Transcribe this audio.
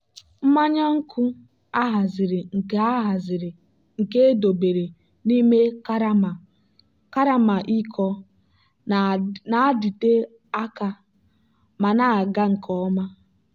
mmanya nkwụ a haziri nke a haziri nke edobere n'ime karama iko na-adịte aka ma na-aga nke ọma.